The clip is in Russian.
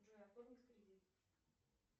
джой оформить кредит